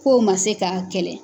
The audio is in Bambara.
K'o man se k'a kɛlɛ.